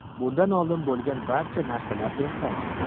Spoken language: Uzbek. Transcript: Bundan oldin bo‘lgan barcha narsalar ertak.